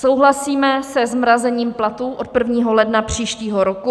Souhlasíme se zmrazením platů od 1. ledna příštího roku.